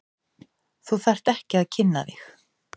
Þú þarft ekki að kynna þig.